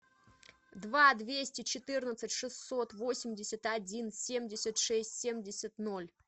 два двести четырнадцать шестьсот восемьдесят один семьдесят шесть семьдесят ноль